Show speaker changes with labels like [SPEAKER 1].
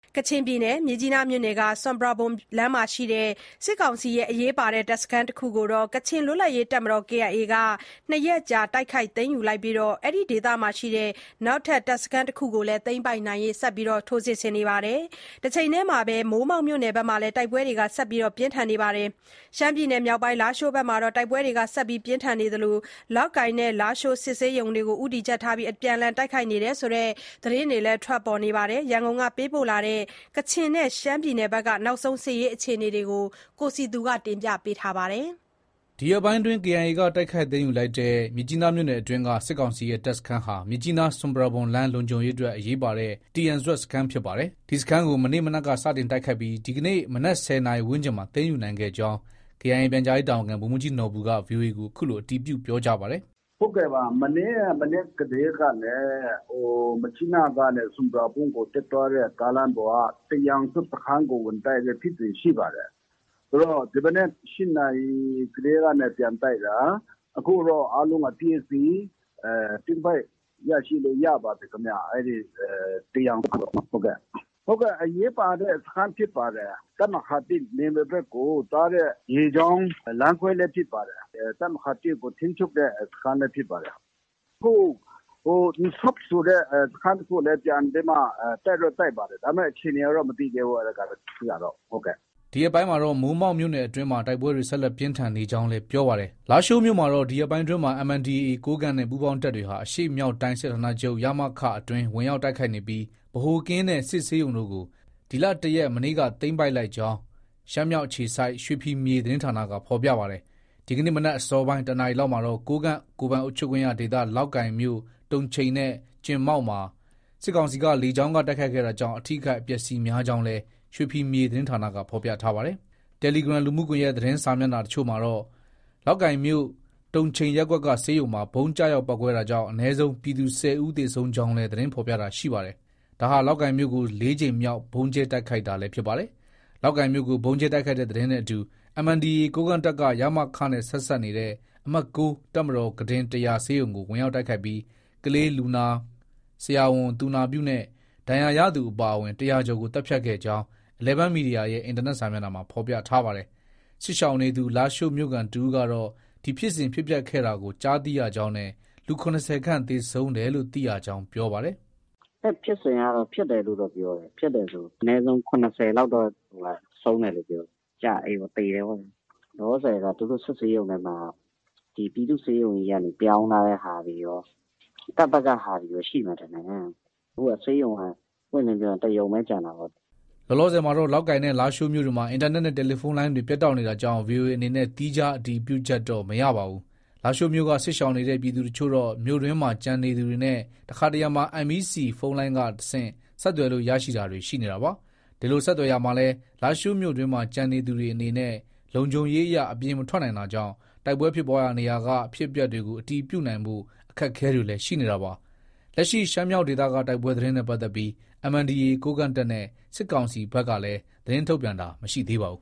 [SPEAKER 1] ကချင်ပြည်နယ်၊ မြစ်ကြီးနားမြို့နယ်က ဆွမ်ပရာဘွမ်လမ်းမှာရှိတဲ့ စစ်ကောင်စီရဲ့ အရေးပါတဲ့ တပ်စခန်းတခုကို ကချင်လွတ်လပ်ရေးတပ်မတော် KIA က ၂ရက်ကြာ တိုက်ခိုက်သိမ်းယူလိုက်ပြီးအဲဒီဒေသက နောက်ထပ် တပ်စခန်းတခုကိုလည်း ဆက်လက်တိုက်ခိုက်နေပါတယ်။ တချိန်တည်းမှာတော့ မိုးမောက်မြို့နယ်ဘက်မှာလည်း တိုက်ပွဲတွေ ဆက်လက်ပြင်းထန်နေပါတယ်။ ရှမ်းပြည်နယ်မြောက်ပိုင်း လားရှိုးမှာတော့ တိုက်ပွဲတွေ ဆက်လက်ပြင်းထန်နေသလို လောက်ကိုင်နဲ့ လားရှိုး စစ်ဆေးရုံတွေကို အပြန်အလှန် တိုက်ခိုက်တယ်ဆိုတဲ့ သတင်းတွေလည်း ထွက်ပေါ်နေပါတယ်။ ရန်ကုန်က ပေးပို့လာတဲ့ ကချင်နဲ့ ရှမ်းပြည်နယ်က နောက်ဆုံး အခြေအနေတွေကို တင်ပြထားပါတယ်
[SPEAKER 2] ။ ဒီရက်ပိုင်းအတွင်း KIA က တိုက်ခိုက် သိမ်းယူလိုက်တဲ့ မြစ်ကြီးနားမြို့နယ်အတွင်းက စစ်ကောင်စီရဲ့ တပ်စခန်းဟာ မြစ်ကြီးနား-ဆွမ်ပရာဘွမ်လမ်း လုံခြုံရေးအတွက် အရေးပါတဲ့ တီယန်ဇွပ်စခန်း ဖြစ်ပါတယ်။ ဒီစခန်းကို မနေ့မနက်က စတင်တိုက်ခိုက်ပြီး ဒီကနေ့ မနက် ၁၀နာရီ ဝန်းကျင်မှာ သိမ်းယူနိုင်ခဲ့ကြောင်း KIA ပြန်ကြားရေးတာဝန်ခံ ဗိုလ်မှုးကြီးနော်ဘူက VOA ကို အခုလို အတည်ပြု ပြောကြားပါတယ်
[SPEAKER 3] ။ “ မနေ့က မနက်ကတည်းကနေ မြစ်ကြီးနားကနေ ဆွမ်ပရာဘွမ်ကို တက်သွားတဲ့ ကားလမ်းပေါ်က တီယန်ဇွပ်စခန်းကို ဝင်တိုက်တဲ့ ဖြစ်စဉ်ရှိပါတယ်။ ဆိုတော့ ဒီမနက် ၈နာရီကတည်းကနေ ပြန်တိုက်တာ အခုတော့ အားလုံး အပြီးအစီး သိမ်းပိုက်လို့ရပါပြီ၊ အဲဒီ တီယန်ဇွပ်စခန်း။ အရေးပါတဲ့ စခန်းဖြစ်ပါတယ်။ တပ်မဟာ ၁နယ်မြေဘက်ကိုသွားတဲ့ ရေကြောင်းလမ်းခွဲလည်း ဖြစ်ပါတယ်။ တပ်မဟာ ၁ကို ထိန်းချုပ်တဲ့ စခန်းလည်း ဖြစ်ပါတယ်။ အခု ဟို…. အင်ဆော့ပ် ဆိုတဲ့ စခန်းတခုလည်း ပြန်ပြီးမှ တိုက်တော့ တိုက်ပါတယ်။ ဒါပေမဲ့ အခြေအနေကတော့ မသိသေးဘူး။ အဲဒီဘက်ကတော့။ ”
[SPEAKER 2] ဒီရက်ပိုင်းမှာတော့ မိုးမောက်မြို့နယ်အတွင်းမှာ တိုက်ပွဲတွေ ဆက်လက် ပြင်းထန်နေကြောင်းလည်း ပြောပါတယ်။ လားရှိုးမြို့မှာတော့ ဒီရက်ပိုင်းအတွင်းမှာ MNDAA ကိုးကန့်နဲ့ ပူးပေါင်းတပ်တွေဟာ အရှေ့မြောက်တိုင်း စစ်ဌာနချုပ် အတွင်း ဝင်ရောက် တိုက်ခိုက်နေပြီး ဗဟိုကင်းနဲ့ စစ်ဆေးရုံတို့ကို ဒီလ ၁ရက် မနေ့က သိမ်းပိုက်လိုက်ကြောင်း ရှမ်းမြောက်အခြေစိုက် ရွှေဖီမြေသတင်းဌာနက ဖော်ပြပါတယ်။ ဒီကနေ့မနက်အစောပိုင်း ၁နာရီလောက်မှာတော့ ကိုးကန့် ကိုယ်ပိုင်အုပ်ချုပ်ခွင့်ရဒေသ လောက်ကိုင်မြို့ တုံချိန်နဲ့ ကျင်မောက်မှာ စစ်ကောင်စီက လေကြောင်းက တိုက်ခိုက်ခဲ့တာကြောင့် အထိအခိုက်အပျက်အဆီးများကြောင်းလည်း ရွှေဖီမြေသတင်းဌာနက ဖော်ပြထားပါတယ်။ တယ်လီဂရမ် သတင်းစာမျက်နှာအချို့မှာတော့ လောက်ကိုင်မြို့ တုံချိန်ရပ်ကွက်က ဆေးရုံမှာ ဗုံးကျရောက်ပေါက်ကွဲတာကြောင့် အနည်းဆုံး ပြည်သူ ၁၀ဦးသေဆုံးကြောင်းလည်း သတင်းဖော်ပြတာတွေ ရှိနေပါတယ်။ ဒါဟာ လောက်ကိုင်မြို့ကို ၄ကြိမ်မြောက်ဗုံးကြဲတိုက်ခိုက်တာလည်း ဖြစ်ပါတယ်။ လောက်ကိုင်မြို့ကို ဗုံးကြဲတိုက်ခိုက်တဲ့သတင်းနဲ့အတူ MNDAA ကိုးကန့်တပ်က ရမခနဲ့ ဆက်စပ်နေတဲ့ အမှတ်၉ တပ်မတော် ကုတင် ၁၀၀ ဆေးရုံကို ဝင်ရောက်တိုက်ခိုက်ပြီး ကလေးလူနာ၊ ဆရာဝန်၊ သူနာပြုနဲ့ ဒဏ်ရာရသူအပါအဝင် ၁၀၀ကျော်ကို သတ်ဖြတ်ခဲ့ကြောင်း Eleven Media ရဲ့ အင်တာနက်စာမျက်နှာမှာ ဖော်ပြထားပါတယ်။ စစ်ရှောင်နေသူ လားရှိုးမြို့ခံတဦးကတော့ ဒီဖြစ်စဉ် ဖြစ်ပျက်ခဲ့တာကို ကြားသိရကြောင်းနဲ့ လူ ၇၀ခန့် သေဆုံးတယ်လို့ သိရကြောင်း ပြောပါတယ်။
[SPEAKER 4] “ အဲဒီဖြစ်စဉ်က ဖြစ်တယ်လို့တော့ ပြောတယ်။ ဖြစ်တယ်ဆို အနည်းဆုံး ၇၀လောက်တော့ ဆုံးတယ်လို့ ပြောတယ်။ ကျ…အေးပေါ့၊ သေတယ်ပေါ့ဗျာ။ လောလောဆည်မှာက သူတို့ စစ်ဆေးရုံမှာက ပြည်သူ့ဆေးရုံကြီးက ပြောင်းထားတဲ့ဟာတွေရော၊ တပ်ဘက်က ဟာတွေရော ရှိမယ်ထင်တယ်။ အခုက ဆေးရုံဆို ပွင့်ပွင့်လင်းလင်းပြောရင် တရုံပဲ ကျန်တာကိုး။
[SPEAKER 2] ” လောလောဆယ်မှာတော့ လောက်ကိုင်နဲ့ လားရှိုးမြို့တွေမှာ အင်တာနက်နဲ့ တယ်လီဖုန်းလိုင်းတွေ ပြတ်တောက်နေတာကြောင့် VOA အနေနဲ့ သီးခြား အတည်ပြုချက်တော့ မရပါဘူး။ လားရှိုးမြို့က စစ်ရှောင်နေတဲ့ ပြည်သူအချို့တော့ မြို့တွင်းမှာ ကျန်နေသူတွေနဲ့ တခါတရံမှာ MEC ဖုန်းလိုင်းကတဆင့် ဆက်သွယ်လို့ ရရှိတာတွေ ရှိနေတာပါ။ ဒီလို ဆက်သွယ်ရာမှာလည်း လားရှိုးမြို့တွင်းမှာ ကျန်နေသူတွေအနေနဲ့ လုံခြုံရေးအရ အပြင်မထွက်နိုင်တာကြောင့် တိုက်ပွဲ ဖြစ်ပွားရာနေရာက အဖြစ်အပျက်တွေကို အတည်ပြုနိုင်ဖို့ အခက်အခဲတွေလည်း ရှိနေတာပါ။ လက်ရှိ ရှမ်းမြောက်ဒေသက တိုက်ပွဲသတင်းနဲ့ပတ်သက်ပြီး MNDAA ကိုးကန့်တပ်နဲ့ စစ်ကောင်စီဘက်ကလည်း သတင်းထုတ်ပြန်တာ မရှိပါဘူး